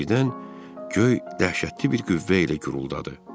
Birdən göy dəhşətli bir qüvvə ilə guruldadı.